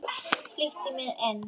Flýtti mér inn.